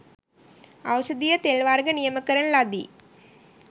ඖෂධීය තෙල් වර්ග නියම කරන ලදී.